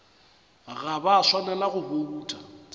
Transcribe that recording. ga ba swanela go bouta